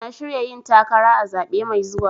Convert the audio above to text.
Na shirya yin takara a zaɓe mai zuwa.